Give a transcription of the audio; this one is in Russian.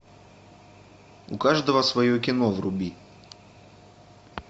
у каждого свое кино вруби